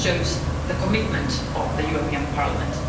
It shows the commitment of the European Parliament.